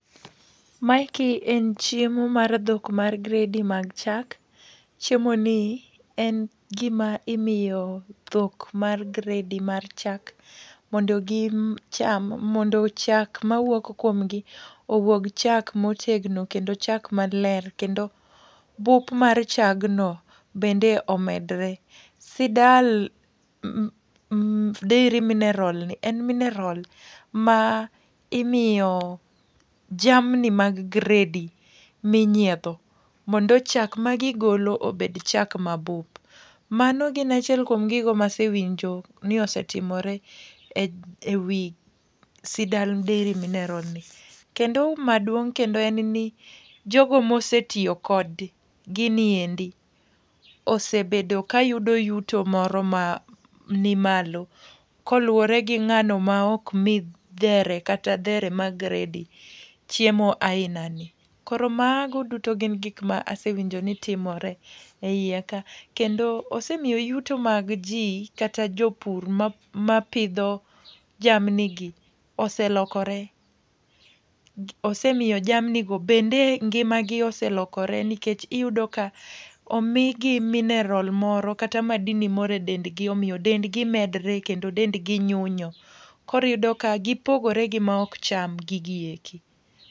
Maeki en chiemo mar dhok mar gredi mag chak, chiemo ni en gima imiyo dhok mar gredi mar chak. Mondo gi cham mondo chak mawuok kuom gi, owuog chak motegno kendo chak maler. kendo bup mar chagno bende omedore. Sidal Dairy Mineral ni en mineral ma imiyo jamni mag gredi minyiedho, mondo chak ma gigolo obed chak mabup. Mano gin achiel kuom gigo masewinjo ni osetimore ewi Sidal Dairy Mineral ni. Kendo hu maduong' kendo en ni jogo mosetiyo kod gini endi, osebedo ka yudo yuto ma ni malo. Koluwore gi ng'ano ma ok mi dhere kata dhere ma gredi chiemo aina ni. Koro mago duto gin gik ma asewinjo ni timore eiye ka, kendo osemiyo yuto mag ji kata jopur ma pidho jamni gi oselokore. Osemiyo jamni go bende ngima gi oselokore. Nikech iyudo ka omigi mineral moro kata madini moro e dendgi omiyo dend gi medore kendo dengi nyunyo. Koriyudo ka gipogore gi ma ok cham gigi eki.